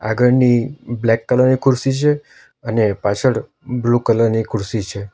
આગળની black colour ની ખુરસી છે અને પાછળ બ્લુ કલર ની ખુરસી છે.